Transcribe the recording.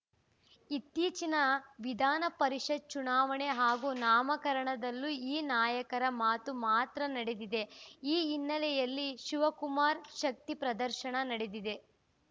ಇತ್ತೀಚಿನ ವಿಧಾನಪರಿಷತ್‌ ಚುನಾವಣೆ ಹಾಗೂ ನಾಮಕರಣದಲ್ಲೂ ಈ ನಾಯಕರ ಮಾತು ಮಾತ್ರ ನಡೆದಿದೆ ಈ ಹಿನ್ನೆಲೆಯಲ್ಲಿ ಶಿವಕುಮಾರ್‌ ಶಕ್ತಿ ಪ್ರದರ್ಶನ ನಡೆದಿದೆ